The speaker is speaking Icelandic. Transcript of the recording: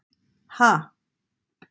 Ha?